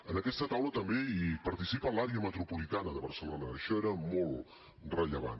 en aquesta taula també hi participa l’àrea metropolitana de barcelona això era molt rellevant